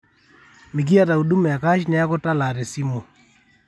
mikiata huduma e cash neeku talaa te simu